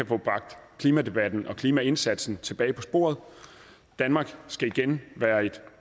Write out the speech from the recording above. få bragt klimadebatten og klimaindsatsen tilbage på sporet danmark skal igen være et